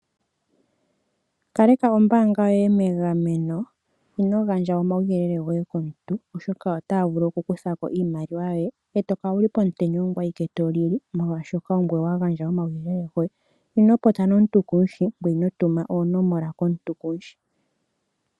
Kaleka ombaanga yoye megameno. Ino gandja omauyelele goye komontu, oshoka otaa vulu okukutha ko iimaliwa yoye e to kala wu li pomutenya ongoye awike to lili molwashoka ongoye wa gandja omauyelele goye. Ino popya nomuntu kumu sho, ngoye ino tuma oonomola komuntu kumu shi.